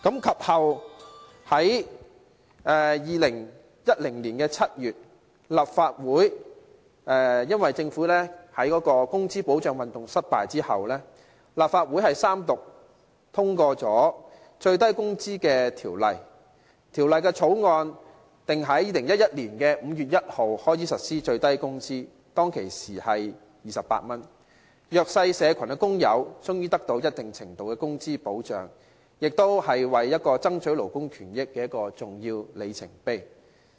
其後，在2010年7月，政府在"工資保障運動"失敗後，立法會三讀通過《最低工資條例》，並在2011年5月1日開始實施最低工資，當時是28元，弱勢社群的工友終於獲得一定程度的工資保障，亦是爭取勞工權益的重要里程碑。